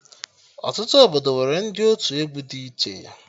Ọtụtụ obodo nwere ndị otu egwu dị iche